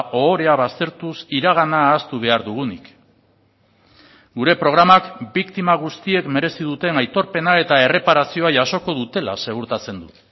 ohorea baztertuz iragana ahaztu behar dugunik gure programak biktima guztiek merezi duten aitorpena eta erreparazioa jasoko dutela segurtatzen du